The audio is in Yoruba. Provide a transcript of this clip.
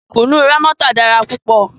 Kùnú Rámọ́tà dára púpọ̀